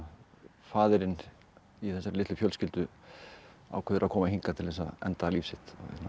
faðirinn í þessari litlu fjölskyldu ákveður að koma hingað til þess að enda líf sitt